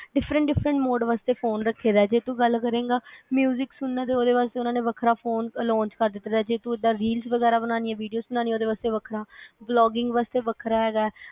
diffrent different mode ਵਾਸਤੇ phone ਰੱਖੇਦਾ ਜੇ ਤੂੰ ਗੱਲ ਕਰੇਗਾ ਸੁਣਨਾ ਤੇ ਉਹਦੇ ਵਾਸਤੇ ਉਹਨਾਂ ਵੱਖਰਾ ਫੋਨ launch ਕਰ ਦਿੱਤਾ ਦਾ ਜੇ ਤੂੰ ਇਹਦਾ reels ਵਗੈਰਾ ਬਨਾਨੀਆ videos ਬਨਾਨੀਆ vlogging ਵਾਸਤੇ ਵੱਖਰਾ ਹੈਗਾ ਆ